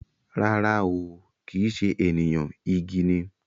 Rara ooo, kìí ṣe ènìyàn, igi ni